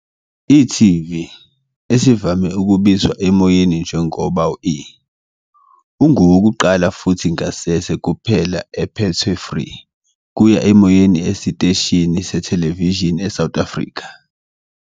e.tv, esivame ukubizwa emoyeni njengoba e, ungowokuqala futhi ngasese kuphela ephethwe free-kuya-emoyeni esiteshini sethelevishini eSouth Africa.